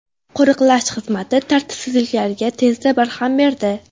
Qo‘riqlash xizmati tartibsizliklarga tezda barham berdi.